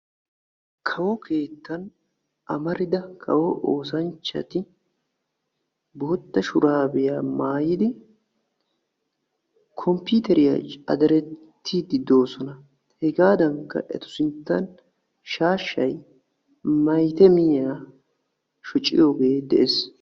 kawo keettan amarida kawo oosanchchati bootta shuraabiyaa maayidi komppiiteriyaa caderettiidi de'oosona hegaadankka etu sinttan shaashshay maytamiyaa shociyoogee deyees